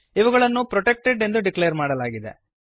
ಇವುಗಳನ್ನು ಪ್ರೊಟೆಕ್ಟೆಡ್ ಎಂದು ಡಿಕ್ಲೇರ್ ಮಾಡಲಾಗಿದೆ